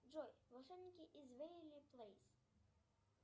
джой волшебники из вэйверли плэйс